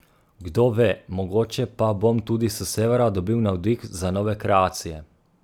Kdo ve, mogoče pa bom tudi s severa dobil navdih za nove kreacije.